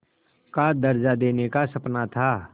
का दर्ज़ा देने का सपना था